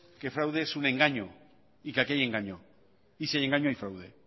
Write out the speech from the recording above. que fraude es un engaño y que aquí hay engaño y si hay engaño hay fraude